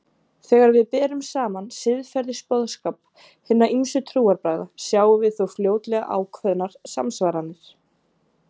Þegar við berum saman siðferðisboðskap hinna ýmsu trúarbragða sjáum við þó fljótlega ákveðnar samsvaranir.